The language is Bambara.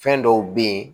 Fɛn dɔw be ye